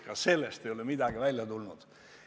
Ka sellest ei ole midagi välja tulnud.